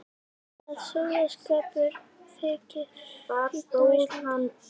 Að sóðaskapur þyki fínn á Íslandi.